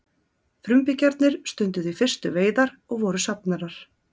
Frumbyggjarnir stunduðu í fyrstu veiðar og voru safnarar.